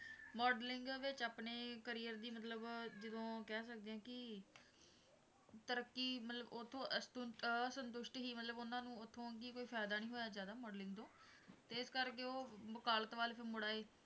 Modeling ਵਿੱਚ ਆਪਣੇ career ਦੀ ਮਤਲਬ ਜਦੋਂ ਕਹਿ ਸਕਦੇ ਹਾਂ ਕਿ ਤਰੱਕੀ ਮਤਲਬ ਉੱਥੋਂ ਅਸਤੁਸ਼ਟ ਸੀ ਮਤਲਬ ਉਹਨਾਂ ਨੂੰ ਉੱਥੋਂ ਕੋਈ ਫ਼ਾਇਦਾ ਨੀ ਹੋਇਆ ਜ਼ਿਆਦਾ modeling ਤੋਂ ਤੇ ਇਸ ਕਰਕੇ ਉਹ ਵਕਾਲਤ ਵੱਲ ਫਿਰ ਮੁੜ ਆਏ।